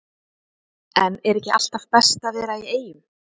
En er ekki alltaf best að vera í Eyjum?